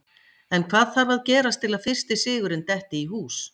En hvað þarf að gerast til að fyrsti sigurinn detti í hús?